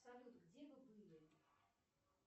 салют где вы были